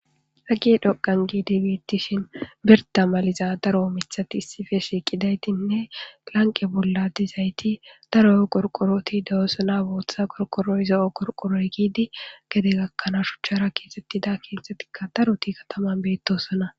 Be gedo Gandi gi Beetishn birda maliza mithat issippe shiqidaytine lanqe bolla daro qorqorot dosona bootha qorqoroy, zo'o qorqoroy giid gede gakanaw shuchara kexetida kethatika daroti kataman betosona